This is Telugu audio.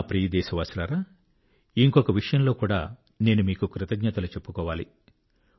నా ప్రియదేశవాసులారా ఇంకొక విషయంలో కూడా నేను మీకు కృతజ్ఞతలు చెప్పుకోవాలి